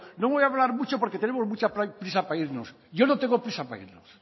no voy a hablar mucho porque tenemos mucha prisa para irnos yo no tengo prisa para irnos